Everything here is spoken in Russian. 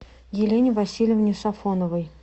елене васильевне сафоновой